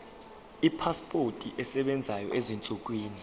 ipasipoti esebenzayo ezinsukwini